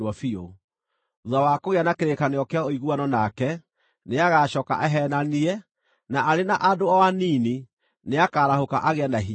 Thuutha wa kũgĩa na kĩrĩkanĩro kĩa ũiguano nake, nĩagacooka aheenanie, na arĩ na andũ o anini nĩakarahũka agĩe na hinya.